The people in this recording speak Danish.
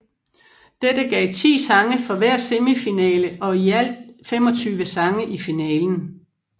Dette gav 10 sange fra hver semifinale og i alt 25 sange i finalen